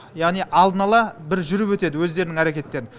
яғни алдын ала бір жүріп өтеді өздерінің әрекеттерін